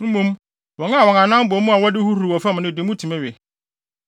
Mmom, wɔn a wɔn anan bɔ mu a wɔde huruwhuruw wɔ fam no de mutumi we.